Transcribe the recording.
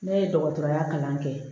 Ne ye dɔgɔtɔrɔya kalan kɛ